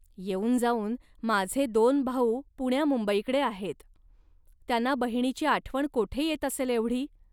येऊन जाऊन माझे दोन भाऊ पुण्यामुंबईकडे आहेत. त्यांना बहिणीची आठवण कोठे येत असेल एवढी